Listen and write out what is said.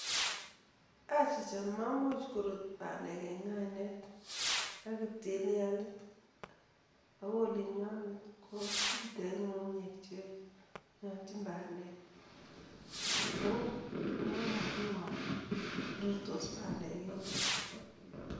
Achicha, meimuch korut bandek en ng'ainet ak ptilialit, ako olinyondet komitei ng'ung'unyek che nyolchin bandek, ko mamanguu ale rurtos bandek eng yuto.